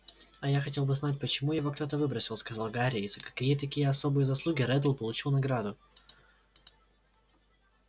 а я хотел бы знать почему его кто-то выбросил сказал гарри и за какие такие особые заслуги реддл получил награду